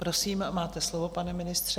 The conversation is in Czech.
Prosím, máte slovo, pane ministře.